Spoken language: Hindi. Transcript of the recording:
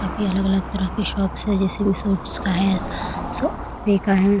अभी अलग-अलग तरह के शॉप्स है जैसे शूट्स का है स कपड़े का है।